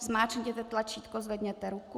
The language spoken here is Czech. Zmáčkněte tlačítko, zvedněte ruku.